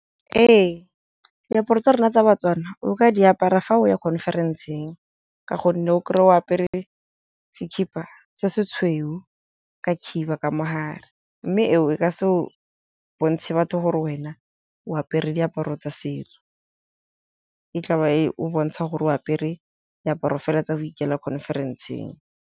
Ee, diaparo tsa rona tsa ba-Tswana o ka di apara fa o ya conference-eng, ka gonne o kry-e o apere sekipa se se tshweu ka khiba ka mo gare, mme eo e ka se o bontshe batho gore wena o apere diaparo tsa setso, e tla ba e o bontsha gore o apere diaparo fela tsa go ikela conference-eng.